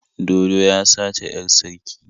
Dodo ya sace 'yar sarki.